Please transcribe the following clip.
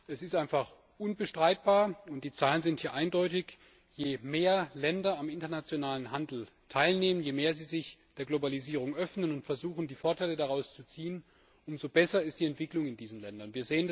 Es ist einfach unbestreitbar und die Zahlen sind ja eindeutig Je mehr Länder am internationalen Handel teilnehmen, je mehr sie sich der Globalisierung öffnen und versuchen, Vorteile daraus zu ziehen, umso besser ist die Entwicklung in diesen Ländern.